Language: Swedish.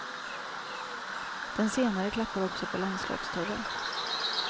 Den senare klappar också på landslagsdörren.